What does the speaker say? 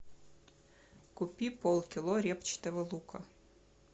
купи пол кило репчатого лука